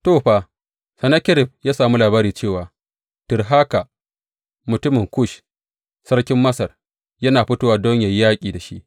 To, fa, Sennakerib ya sami labari cewa Tirhaka, mutumin Kush sarkin Masar, yana fitowa don yă yi yaƙi da shi.